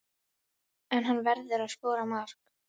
En hann verður að skora mark.